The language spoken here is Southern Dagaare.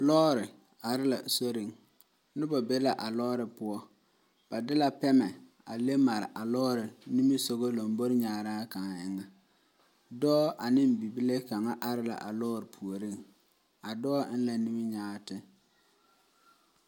Lɔɔre are la soriŋ, noba be la a lɔɔre poɔ, ba de la pɛmɛ a leŋ mare a lɔɔre. lambori kaŋa, dɔɔ ane bibile kaŋa are la a lɔɔre puoriŋ, a dɔɔ eŋ la nimikyaane.